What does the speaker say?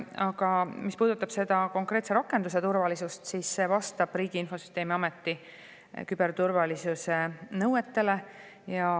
Aga mis puudutab konkreetse rakenduse turvalisust, siis see vastab Riigi Infosüsteemi Ameti küberturvalisuse nõuetele.